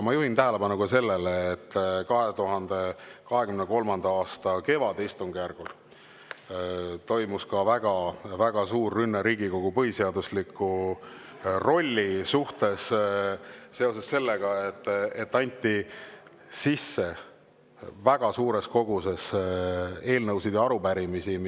Ma juhin tähelepanu ka sellele, et 2023. aasta kevadistungjärgul toimus väga-väga suur rünne Riigikogu põhiseadusliku rolli vastu, anti sisse väga suures koguses eelnõusid ja arupärimisi.